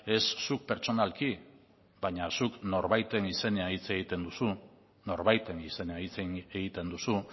ez zuk pertsonalki baina zuk norbaiten izenean hitz egiten duzu